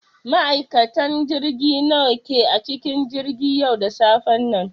Ma'aikatan jirgi nawa ne a cikin jirgin yau da safen nan?